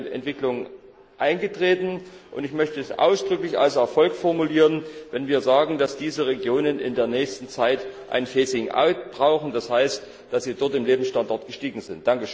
Es ist eine Entwicklung eingetreten, und ich möchte es ausdrücklich als Erfolg formulieren, wenn wir sagen, dass diese Regionen in der nächsten Zeit ein brauchen, denn das heißt dass der Lebensstandard dort gestiegen ist.